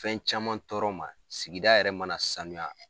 Fɛn caman tɔɔrɔ ma sigida yɛrɛ mana sanuya.